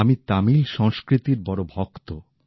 আমি তামিল সংস্কৃতির বড় ভক্ত